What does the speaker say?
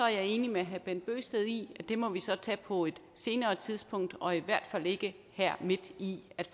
jeg enig med herre bent bøgsted i at det må vi så tage på et senere tidspunkt og i hvert fald ikke her midt i